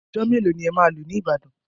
Ọjọ́ mélòó ni ẹ máa lò ní Ìbàdàn?